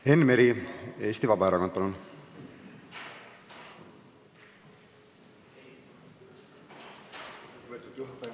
Enn Meri Eesti Vabaerakonna nimel, palun!